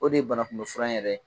O de ye banakunbɛn furan in yɛrɛ ye.